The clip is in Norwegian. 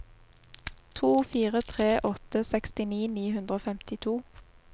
to fire tre åtte sekstini ni hundre og femtito